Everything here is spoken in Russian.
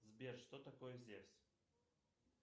сбер что такое зевс